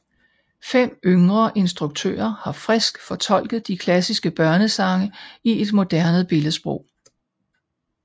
Fem yngre instruktører har frisk fortolket de klassiske børnesange i et moderne billedsprog